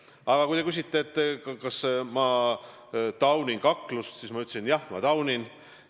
Aga kui te küsisite, kas ma taunin kaklust, siis ma ütlesin, et jah, ma taunin.